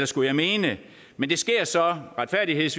skulle jeg mene men det sker så retfærdigvis